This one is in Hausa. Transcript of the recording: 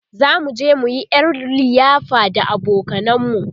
zamu je muyi ƴar liyafa da abokanan mu